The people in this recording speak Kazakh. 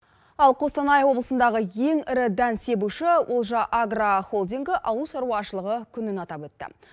ал қостанай облысындағы ең ірі дән себуші олжа агро холдингі ауыл шаруашылығы күнін атап өтті